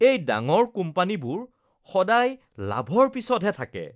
এই ডাঙৰ কোম্পানীবোৰ সদায় লাভৰ পিছতহে থাকে।